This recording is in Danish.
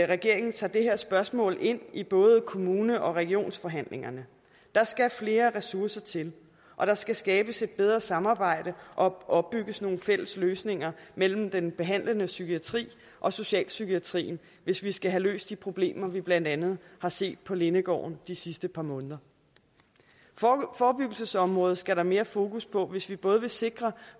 regeringen tager det her spørgsmål ind i både kommune og regionsforhandlingerne der skal flere ressourcer til og der skal skabes et bedre samarbejde og opbygges nogle fælles løsninger mellem den behandlende psykiatri og socialpsykiatrien hvis vi skal have løst de problemer vi blandt andet har set på lindegården de sidste par måneder forebyggelsesområdet skal der mere fokus på hvis vi både vil sikre